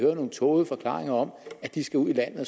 vi nogle tågede forklaringer om at de skal ud i landet